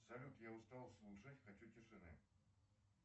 салют я устал слушать хочу тишины